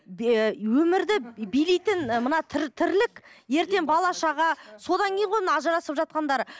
өмірді билейтін ы мына тірлік ертең бала шаға содан кейін ғой мына ажырасып жатқандары